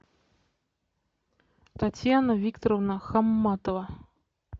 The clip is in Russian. татьяна викторовна хамматова